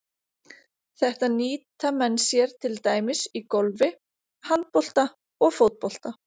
Þetta nýta menn sér til dæmis í golfi, handbolta og fótbolta.